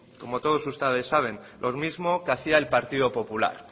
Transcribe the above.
como todos ustedes saben lo mismo que hacía el partido popular